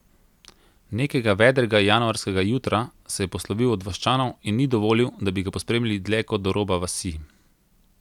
Nekega vedrega januarskega jutra se je poslovil od vaščanov in ni dovolil, da bi ga pospremili dlje kot do roba vasi.